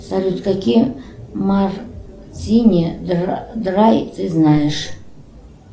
салют какие мартини драй ты знаешь